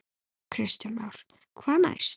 Kristján Már: Hvað næst?